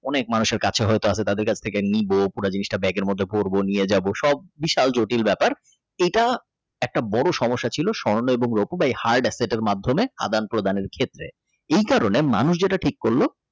অনেক মানুষের কাছে হয়তো আছে তাদের কাছ থেকে নিব পুরো জিনিসটা ব্যাগের মধ্যে ভরবো নিয়ে যাব সব বিশাল জটিল ব্যাপার এটা একটা বড় সমস্যা ছিল স্বর্ণ এবং রুপ Heart accept মাধ্যমে আদান-প্রদানের ক্ষেত্রে এই কারণে মানুষ যেটা ঠিক করলো।